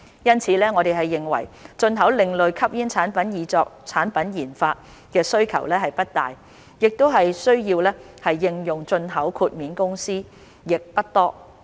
因此，我們認為進口另類吸煙產品以作產品研發的需求不大，需要應用進口豁免的公司亦不多。